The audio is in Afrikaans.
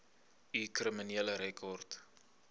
u kriminele rekord